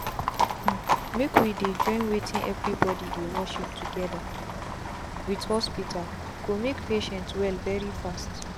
hmmmmake we dey join wetin everybody dey worship together with hospital go make patient well very fast.